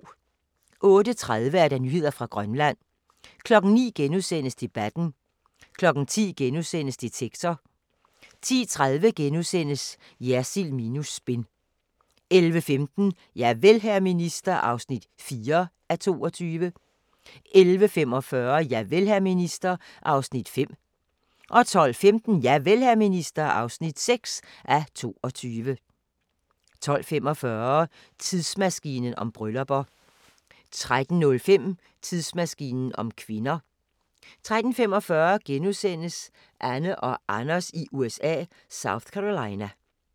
08:30: Nyheder fra Grønland 09:00: Debatten * 10:00: Detektor * 10:30: Jersild minus spin * 11:15: Javel, hr. minister (4:22) 11:45: Javel, hr. minister (5:22) 12:15: Javel, hr. minister (6:22) 12:45: Tidsmaskinen om bryllupper 13:05: Tidsmaskinen om kvinder 13:25: Anne og Anders i USA – South Carolina *